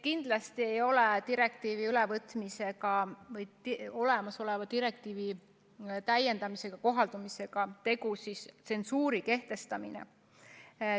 Kindlasti ei ole olemasoleva direktiivi täiendamise puhul tegu tsensuuri kehtestamisega.